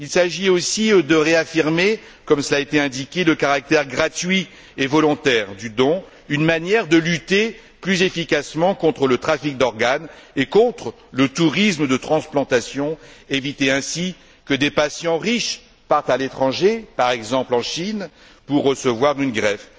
Il s'agit aussi de réaffirmer, comme cela a été indiqué, le caractère gratuit et volontaire du don, une manière de lutter plus efficacement contre le trafic d'organes et contre le tourisme de transplantation et d'éviter ainsi que des patients riches partent à l'étranger par exemple en Chine pour recevoir une greffe.